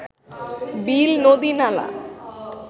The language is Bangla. বিল নদী নালা